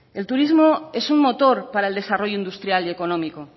el turismo es un motor para el desarrollo industrial y económico